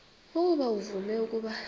ukuba uvume ukuba